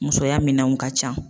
Musoya minɛnw ka ca